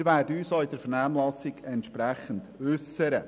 Wir werden uns auch in der Vernehmlassung entsprechend äussern.